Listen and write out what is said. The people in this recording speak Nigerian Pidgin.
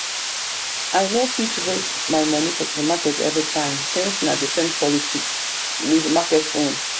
i no fit waste my money for supermarket everytime since na de same quality with market own.